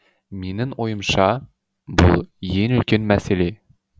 менің ойымша бұл ең үлкен мәселе